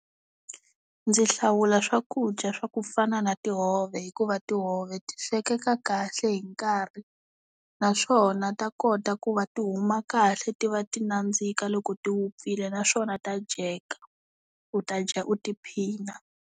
Ndzi hlawula swakudya swa ku fana na tihove hikuva tihove ti swekeka kahle hi nkarhi naswona ta kota ku va ti huma kahle ti va ti nandzika loko ti wupfile naswona ta dyeka u ta dya u tiphina.